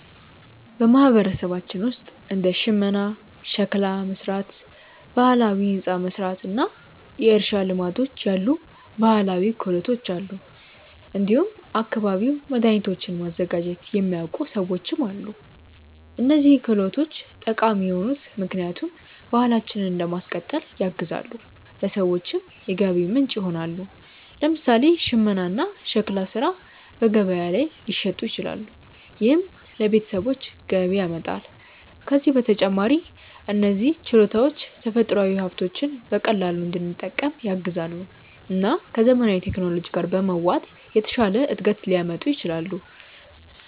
በማህበረሰባችን ውስጥ እንደ ሽመና፣ ሸክላ መሥራት፣ ባህላዊ ሕንፃ መሥራት እና የእርሻ ልማዶች ያሉ ባህላዊ ክህሎቶች አሉ። እንዲሁም አካባቢያዊ መድኃኒቶችን ማዘጋጀት የሚያውቁ ሰዎችም አሉ። እነዚህ ክህሎቶች ጠቃሚ የሆኑት ምክንያቱም ባህላችንን ለማስቀጠል ያግዛሉ፣ ለሰዎችም የገቢ ምንጭ ይሆናሉ። ለምሳሌ ሽመና እና ሸክላ ሥራ በገበያ ላይ ሊሸጡ ይችላሉ፣ ይህም ለቤተሰቦች ገቢ ያመጣል። ከዚህ በተጨማሪ እነዚህ ችሎታዎች ተፈጥሯዊ ሀብቶችን በቀላሉ እንድንጠቀም ያግዛሉ እና ከዘመናዊ ቴክኖሎጂ ጋር በመዋሃድ የተሻለ እድገት ሊያመጡ ይችላሉ።